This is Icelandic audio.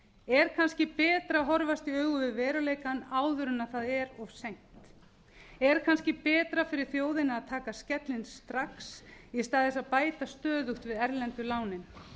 er kannski betra að horfast í augu við veruleikann áður en það er of seint er kannski betra fyrir þjóðina að taka skellinn strax í stað þess að bæta stöðugt við erlendu lánin